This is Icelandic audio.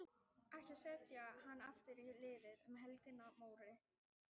Boranir hófust á Norður-Reykjum, en þá hafði Rafmagnseftirlit ríkisins tekið við rekstri jarðborana.